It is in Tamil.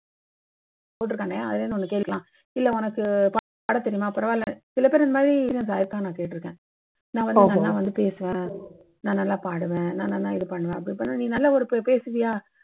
போட்டுருக்கானே அதுலேந்து ஒண்ணி கேக்கலாம். இல்லை உனக்கு பாடத் தெரியுமா பரவாயில்லை. சில பேர் இந்த மாதிரி இதாயிருக்கா நான் கேட்டுருக்கேன். நான் வந்து நல்லா பேசுவேன், நான் நல்லா பாடுவேன். நான் நல்ல இது பண்ணுவேன். நீ நல்லா ஒரு பேசுவியா?